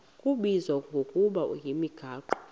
kubizwa ngokuba yimigaqo